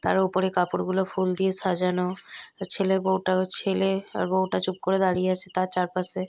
তার ওপরে কাপড় গুলো ফুল দিয়ে সাজানো ছেলে বউটাও ছেলে আর বউটা চুপ করে দাঁড়িয়ে আছে তার চারপাশে।